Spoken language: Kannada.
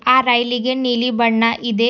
ಆ ರೈಲಿಗೆ ನೀಲಿ ಬಣ್ಣ ಇದೆ.